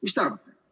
Mida te arvate?